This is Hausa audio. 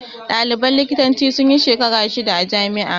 Ɗaliban likitancin sunyi shekara shida a jami'ar